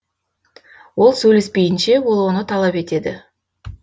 ол сөйлеспейінше ол оны талап етеді